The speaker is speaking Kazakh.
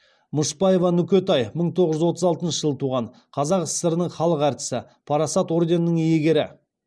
мышбаева нүкетай мың тоғыз жүз отыз алтыншы жылы туған қазақ сср інің халық әртісі парасат орденінің иегері